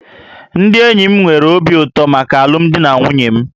Ndị enyi m nwere obi ụtọ maka alụmdi na nwunye m